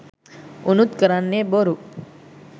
උනුත් කරන්නෙ බොරු